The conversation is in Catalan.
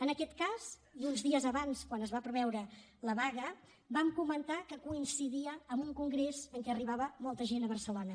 en aquest cas i uns dies abans quan es va preveure la vaga vam comentar que coincidia amb un congrés en què arribava molta gent a barcelona